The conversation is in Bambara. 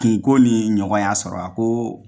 Kunko nin ɲɔgɔn ya sɔrɔ, a ko